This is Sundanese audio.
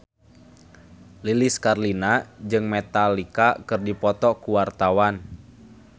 Lilis Karlina jeung Metallica keur dipoto ku wartawan